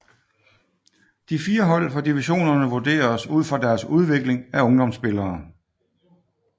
De 4 hold fra divisionerne vurderes ud fra deres udvikling af ungdomsspillere